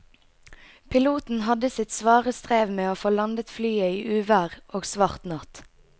Piloten hadde sitt svare strev med å få landet flyet i uvær og svart natt.